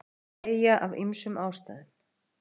tré deyja af ýmsum ástæðum